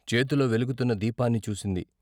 చేతిలో వెలుగుతున్న దీపాన్ని చూసింది.